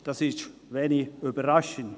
Das ist wahrscheinlich wenig überraschend.